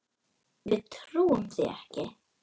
Við trúum því ekki.